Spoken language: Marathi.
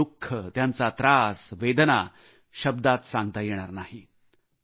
त्यांचे दु ख त्यांचा त्रास वेदना शब्दात सांगता येणार नाहीत